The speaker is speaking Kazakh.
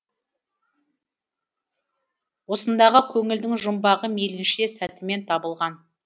осындағы көңілдің жұмбағы мейлінше сәтімен табылған